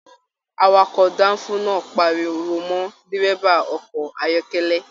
Àwàkọ̀ danfo náà páríwó mọ dírẹ́bà ọkọ̀ ayọkẹlẹ.